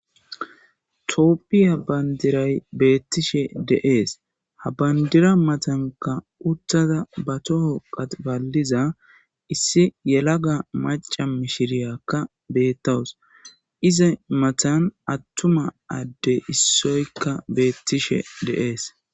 tooppi ha bandiray beettishe deees ha bandira matanka uttada ba toho qatbaliza issi yelaga maca mishiriyakka bettawus iza matan attuma adde issoykka beettishe deees